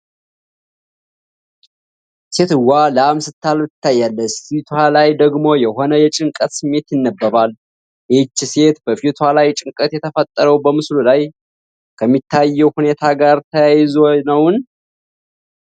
ሴትየዋ ላም ስታልብ ትታያለች፣ ፊቷ ላይ ደግሞ የሆነ የጭንቀት ስሜት ይነበባል። ይህቺ ሴት በፊቷ ላይ ጭንቀት የተፈጠረው በምስሉ ላይ ከሚታየው ሁኔታ ጋር ተያይዞ ነውን?